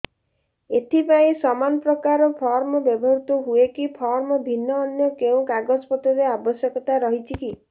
ଏଥିପାଇଁ ସମାନପ୍ରକାର ଫର୍ମ ବ୍ୟବହୃତ ହୂଏକି ଫର୍ମ ଭିନ୍ନ ଅନ୍ୟ କେଉଁ କାଗଜପତ୍ରର ଆବଶ୍ୟକତା ରହିଛିକି